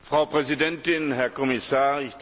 Frau Präsidentin, Herr Kommissar!